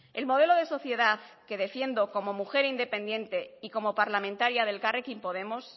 el modelo de sociedad que defiendo como mujer independiente y como parlamentaria de elkarrekin podemos